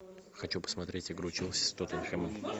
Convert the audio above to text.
хочу посмотреть игру челси с тоттенхэмом